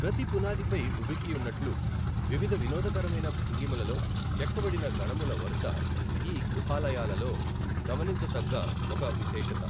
ప్రతి పునాదిపై ఉబికియున్నట్లు వివిధ వినోదకరమైన భంగిమలలో చెక్కబడిన గణముల వరుస ఈ గుహాలయాలలో గమనించదగ్గ ఒక విశేషత.